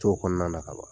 To kɔnɔna na ka ban